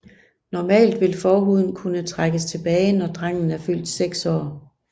Normalt vil forhuden kunne trækkes tilbage når drengen er fyldt seks år